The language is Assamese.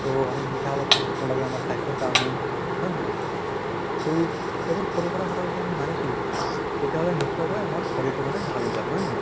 so আমি মিঠা অলপ কম্কৈ খাব লাগে আমাৰ স্বাস্থ্য়ৰ কাৰণে হয় নে নহয়? তʼ এইবোৰ সৰু সুৰা কথা যদি আমি মানি চলো তেতিয়া হʼলে নশ্চয়্কৈ আমাৰ শৰীৰ টো মানে ভাল হৈ যাব হয় নে নহয়?